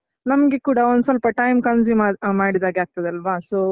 ನಮ್ಗೆ ಕೂಡ ಒಂದ್ ಸ್ವಲ್ಪ time consume ಅಹ್ ಮಾಡಿದಾಗೆ ಆಗ್ತದೆ ಅಲ್ವಾ so .